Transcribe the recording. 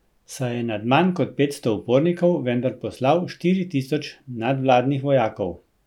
Saj je nad manj kot petsto upornikov vendar poslal štiri tisoč nadvladnih vojakov.